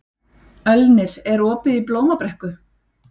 Ölnir, er opið í Blómabrekku?